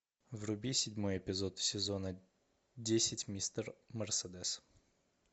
вруби седьмой эпизод сезона десять мистер мерседес